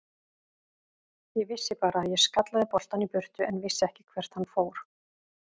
Ég vissi bara að ég skallaði boltann í burtu en vissi ekki hvert hann fór.